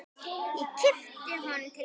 Ég kippi honum til mín.